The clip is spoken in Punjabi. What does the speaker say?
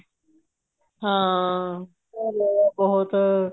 ਹਾਂ ਚਲੋ loss ਹੋਇਆ ਬਹੁਤ